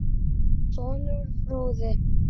Sonur: Fróði.